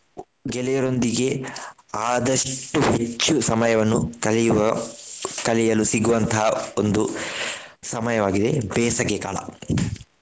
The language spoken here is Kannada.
ಗೆಳೆಯರೊಂದಿಗೆ ಆದಷ್ಟು ಹೆಚ್ಚು ಸಮಯವನ್ನು ಕಳೆಯುವ ಕಳೆಯಲು ಸಿಗುವಂತಹ ಒಂದು ಸಮಯವಾಗಿದೆ ಬೇಸಗೆಕಾಲ.